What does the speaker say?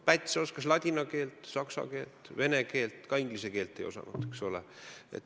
Päts oskas ladina keelt, saksa keelt, vene keelt, inglise keelt tema ka ei osanud, eks ole.